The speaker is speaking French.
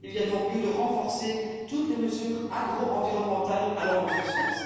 Il y a donc lieu de renforcer toutes les mesures agroenvironnementales allant dans ce sens.